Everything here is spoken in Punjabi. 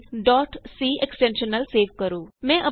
ਫਾਈਲ c ਐਕਸਟੈਨਸ਼ਨ ਨਾਲ ਸੇਵ ਕਰੋ